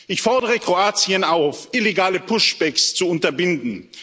Ich fordere Kroatien auf, illegale Push backs zu unterbinden.